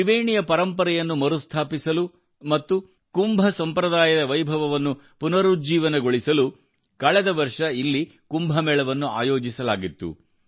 ತ್ರಿವೇಣಿಯ ಪರಂಪರೆಯನ್ನು ಮರುಸ್ಥಾಪಿಸಲು ಮತ್ತು ಕುಂಭ ಸಂಪ್ರದಾಯದ ವೈಭವವನ್ನು ಪುನರುಜ್ಜೀವನಗೊಳಿಸಲು ಕಳೆದ ವರ್ಷ ಇಲ್ಲಿ ಕುಂಭಮೇಳವನ್ನು ಆಯೋಜಿಸಲಾಗಿತ್ತು